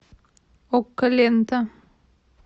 окко лента